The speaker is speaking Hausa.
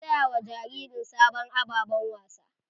An saya wa jaririn sabon ababen wasa.